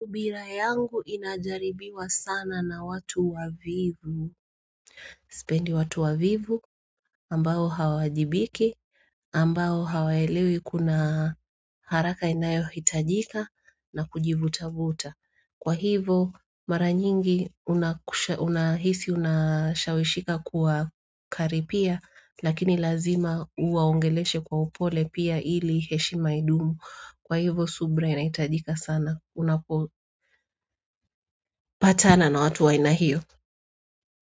Subira yangu inajaribiwa sana na watu wavivu sipendi watu wavivu ambao hawaajibiki ambao hawaelewi kuna haraka inayo hitajika na kujivutavuta kwa hivo mara nyingi unahisi unashawishika kuwakaribia lakini lazima uwaongeleshe kwa upole pia ili heshima idumu kwa hivo subra inahitajika sana unapopatana na watu aina hio.